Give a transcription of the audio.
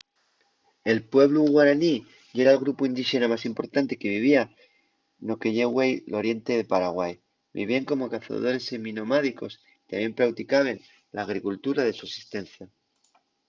el pueblu guaraní yera'l grupu indíxena más importante que vivía no que ye güei l’oriente de paraguai. vivíen como cazadores seminomádicos y tamién prauticaben l’agricultura de sosistencia